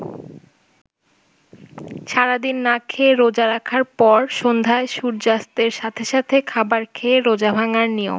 সারাদিন না খেয়ে রোজা রাখার পর সন্ধ্যায় সূর্যাস্তের সাথে সাথে খাবার খেয়ে রোজা ভাঙ্গার নিয়ম।